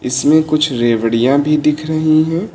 इसमें कुछ रेवड़िया भी दिख रही है।